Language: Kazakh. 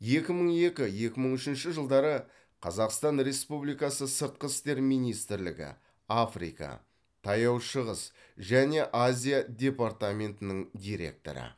екі мың екі екі мың үшінші жылдары қазақстан республикасы сыртқы істер министрлігі африка таяу шығыс және азия департаментінің директоры